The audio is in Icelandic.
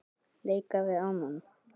leika við annan